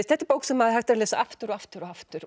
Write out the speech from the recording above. þetta er bók sem hægt er að lesa aftur og aftur og aftur